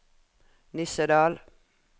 Nissedal